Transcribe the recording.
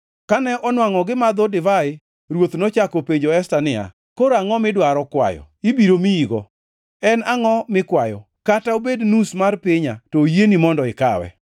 Kane onwangʼo gimadho divai, ruoth nochako openjo Esta niya, “Koro angʼo midwaro kwayo? Ibiro miyigo. En angʼo mikwayo? Kata obed nus mar pinya to oyieni mondo ikawe.”